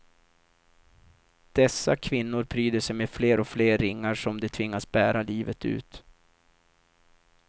Dessa kvinnor pryder sig med fler och fler ringar som de tvingas bära livet ut.